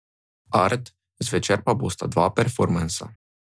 Art, zvečer pa bosta dva performansa.